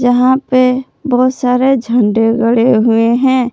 यहां पे बहुत सारे झंडे गड़े हुए हैं।